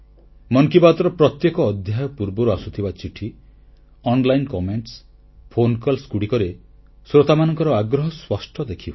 ମନ କି ବାତ୍ ର ପ୍ରତ୍ୟେକ ଅଧ୍ୟାୟ ପୂର୍ବରୁ ଆସୁଥିବା ଚିଠି ଅନଲାଇନ୍ ଅଭିମତ ଓ ଫୋନକଲ ଗୁଡ଼ିକରେ ଶ୍ରୋତାମାନଙ୍କ ଆଗ୍ରହ ସ୍ପଷ୍ଟ ଦେଖିହୁଏ